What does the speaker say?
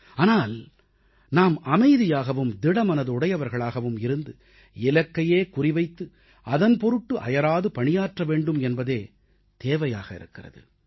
ஆனால் நாம் அமைதியாகவும் திடமனதுடையவர்களாகவும் இருந்து இலக்கையே குறி வைத்து அதன்பொருட்டு அயராது பணியாற்ற வேண்டும் என்பதே தேவையாக இருக்கிறது